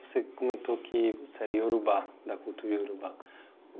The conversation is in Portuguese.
Você comentou que você era Iorubá, da cultura Iorubá.